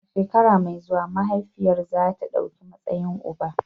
A shekara mai zuwa, mahaifiyar za ta ɗauki matsayin uba.